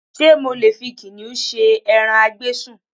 Ṣé mo lè fi kìnnìún ṣe ẹran a gbé sùn?